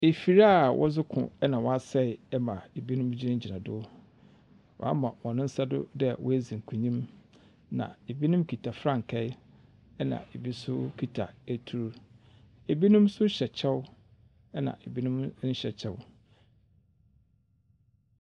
Efir a wɔdze ko na ɔasɛɛ ma binom gyinagyina do, wɔama hɔn nsa do dɛ woedzi nkonyim. Na binom kitsa frankaa na bi so kitsa etur. Binom so hyɛ kyɛw na binom nnhyɛ kyɛw.